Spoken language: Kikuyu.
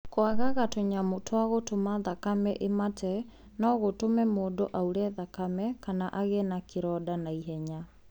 Kwagaga gwa tũnyamũ twa gũtũma thakame ĩmate no gũtume mũndũ aure thakame kana agĩe kĩronda na ihenya.